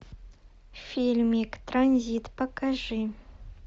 фильмик транзит покажи